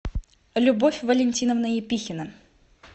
любовь валентиновна епихина